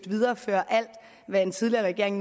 videreføre alt hvad en tidligere regering